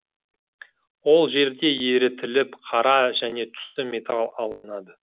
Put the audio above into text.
ол жерде ерітіліп қара және түсті металл алынады